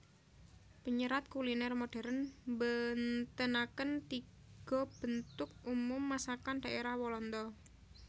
Penyerat kuliner modern mbentenaken tiga bentuk umum masakan daerah Walanda